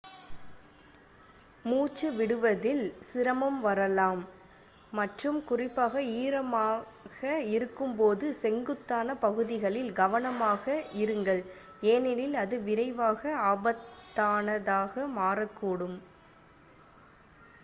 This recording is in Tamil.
மூச்சுத் விடுவதில் சிரமம் வரலாம் மற்றும் குறிப்பாக ஈரமாக இருக்கும் போது செங்குத்தான பகுதிகளில் கவனமாக இருங்கள் ஏனெனில் அது விரைவாக ஆபத்தானதாக மாறக்கூடும்